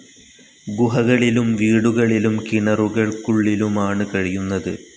ഗുഹകളിലും വീടുകളിലും കിണറുകൾക്കുള്ളിലുമാണ് കഴിയുന്നത്.